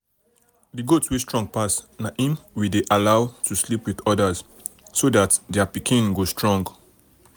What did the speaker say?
the goat wey strong pass na him we dey allow to sleep with others so that their pikin go strong.